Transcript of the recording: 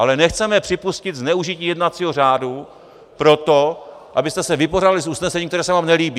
Ale nechceme připustit zneužití jednacího řádu proto, abyste se vypořádali s usnesením, které se vám nelíbí.